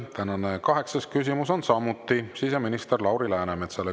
Tänane kaheksas küsimus on samuti siseminister Lauri Läänemetsale.